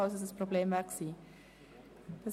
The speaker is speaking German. Geschäft 2015.GEF.36